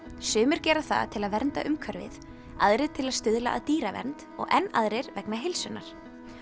sumir gera það til að vernda umhverfið aðrir til að stuðla að dýravernd og enn aðrir vegna heilsunnar